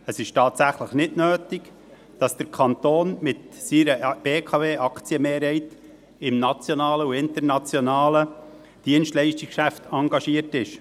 Es ist tatsächlich nicht nötig, dass der Kanton mit seiner BKW-Aktienmehrheit im nationalen und internationalen Dienstleistungsgeschäft engagiert ist.